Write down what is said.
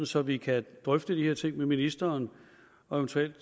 så vi kan drøfte de her ting med ministeren og eventuelt